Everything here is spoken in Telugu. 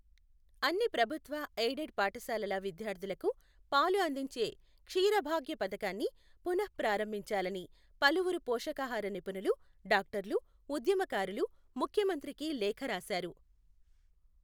అన్ని ప్రభుత్వ, ఎయిడెడ్ పాఠశాలల విద్యార్థులకు పాలు అందించే క్షీర భాగ్య పథకాన్ని పునఃప్రారంభించాలని పలువురు పోషకాహార నిపుణులు, డాక్టర్లు, ఉద్యమకారులు ముఖ్యమంత్రికి లేఖ రాశారు.